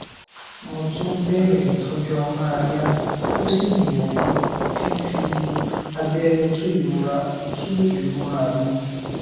mo tún bẹrẹ ìtọjú amárayá ó sì gbìyàjú fífi abẹrẹ tu ìrora tu ìrora mi